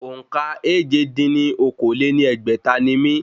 Òǹkà èje dín ní okòó-lé-ní-ẹgbẹ́ta ni mí